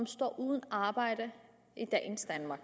står uden arbejde i dagens danmark